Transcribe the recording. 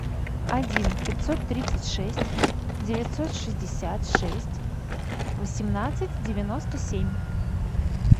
один пятьсот тридцать шесть девятьсот шестьдесят шесть восемнадцать девяносто семь